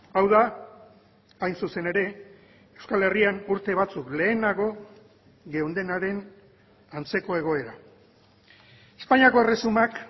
hau da hain zuzen ere euskal herrian urte batzuk lehenago geundenaren antzeko egoera espainiako erresumak